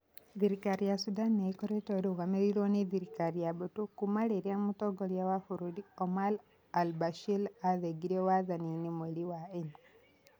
Thirikari ya Sudan nĩ ĩkoretwo ĩrũgamĩrĩirwo nĩ thirikari ya mbũtũ kuuma rĩrĩa Mũtongoria wa bũrũri Omar al-Bashir aathingirio wathani-inĩ mweri-inĩ wa ena.